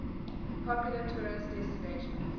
popular tourist destinations